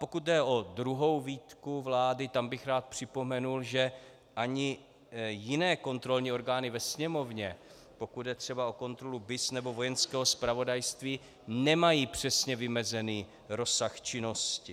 Pokud jde o druhou výtku vlády, tam bych rád připomněl, že ani jiné kontrolní orgány ve Sněmovně, pokud jde třeba o kontrolu BIS nebo Vojenského zpravodajství, nemají přesně vymezený rozsah činnosti.